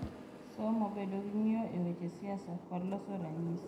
Somo, bedo gi ng’iyo e weche siasa, kod loso ranyisi.